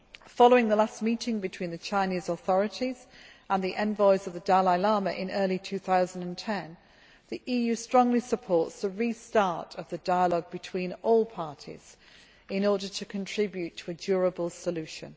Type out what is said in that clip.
Following the last meeting between the Chinese authorities and the envoys of the Dalai Lama in early 2010, the EU strongly supports the restart of the dialogue between all parties in order to contribute to a durable solution.